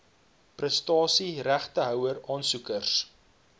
prestasie regtehouer aansoekers